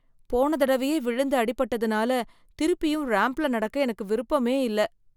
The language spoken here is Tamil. போன தடவையே விழுந்து அடிபட்டதனால, திருப்பியும் ராம்ப்ல நடக்க எனக்கு விருப்பமே இல்லை.